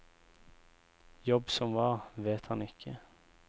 Jobb som hva, vet han ikke.